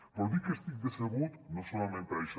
però dic que estic decebut no solament per això